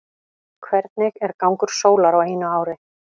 hvernig er gangur sólar á einu ári